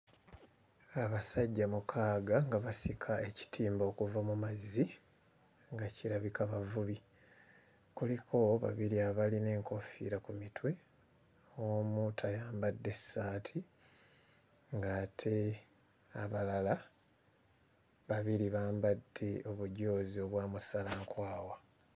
Abasajja mukaaga nga basika ekitimba okuva mu mazzi nga kirabika bavubi. Kuliko babiri abalina enkoofiira ku mitwe, omu tayambadde ssaati ng'ate abalala babiri bambadde obujoozi obwa musalankwawa.